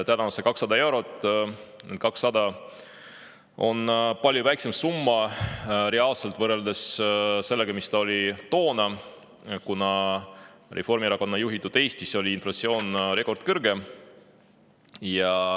See on 200 eurot ja reaalselt on see palju väiksem summa, võrreldes sellega, mis see oli toona, kuna Reformierakonna juhitud Eestis on inflatsioon olnud rekordkõrge.